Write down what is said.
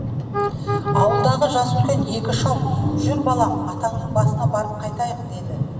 ауылдағы жасы үлкен екі шал жүр балам атаңның басына барып қайтайық деді